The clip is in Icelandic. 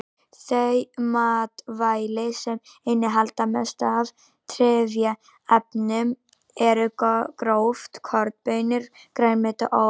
Þau matvæli sem innihalda mest af trefjaefnum eru gróft korn, baunir, grænmeti og ávextir.